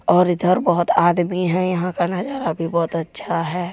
और इधर बहुत आदमी हैंयहा का नजारा भी बहुत अच्छा है।